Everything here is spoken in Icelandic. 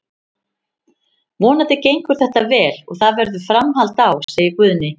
Vonandi gengur þetta vel og það verður framhald á, segir Guðni.